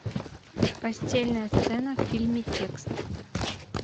постельная сцена в фильме текст